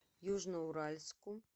южноуральску